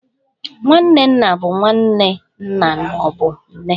Nwanne nna bụ nwanne nna ma ọ bụ nne.